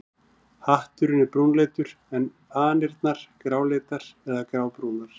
Hatturinn er brúnleitur en fanirnar gráleitar eða grábrúnar.